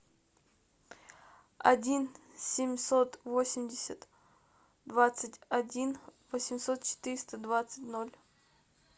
один семьсот восемьдесят двадцать один восемьсот четыреста двадцать ноль